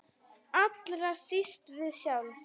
Allra síst við sjálf.